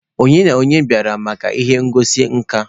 Ònye na onye bịara maka ihe ngosi nka?